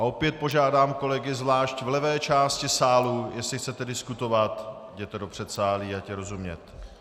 A opět požádám kolegy zvlášť v levé části sálu, jestli chcete diskutovat, jděte do předsálí, ať je rozumět.